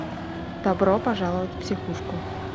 добро пожаловать в психушку